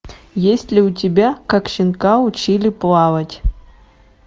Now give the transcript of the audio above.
есть ли у тебя как щенка учили плавать